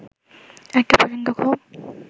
একটা প্রচন্ড ক্ষোভ